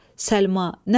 Səlma, nə var?